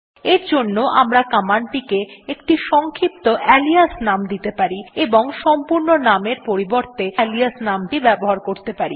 এর জন্য আমরা কমান্ডকে একটি সংক্ষিপ্ত আলিয়াস নাম দিতে পারি এবং সম্পূর্ণ নামের পরিবর্তে সেই রূপক বা আলিয়াস নাম ব্যবহার করতে পারি